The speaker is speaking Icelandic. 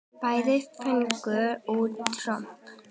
Bæði fengu út tromp.